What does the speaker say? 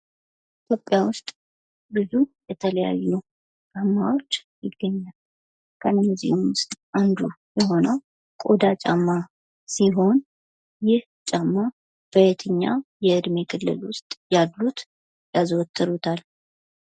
ኢትዮጵያ ውስጥ ብዙ የተለያዩ ጫማዎች ይገኛሉ ከእነዚህም ውስጥ አንዱ የሆነው ቆዳ ጫማ ሲሆን ይህ ጫማ በየትኛው በየትኛው የዕድሜ ክልል ውስጥ ያሉት የያዘወትሩታል?